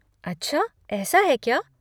अच्छा ऐसा है क्या?